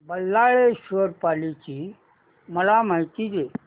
बल्लाळेश्वर पाली ची मला माहिती दे